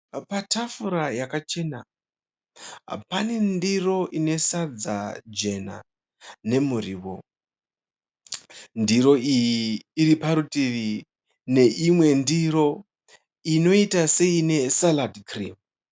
Patafura yakachena, pane ndiro ine sadza jena nemuriwo. Ndiro iyi iri parutivi neimwe ndiro inoita seine "salad cream."